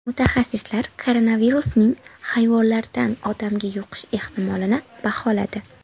Mutaxassislar koronavirusning hayvonlardan odamga yuqish ehtimolini baholadi.